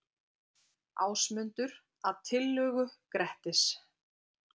Ásmundur, að tillögu Grettis.